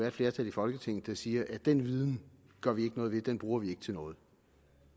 et flertal i folketinget der siger at den viden gør vi ikke noget ved at den bruger vi ikke til noget